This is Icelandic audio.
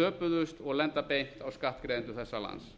töpuðust og lenda beint á skattgreiðendum þessa lands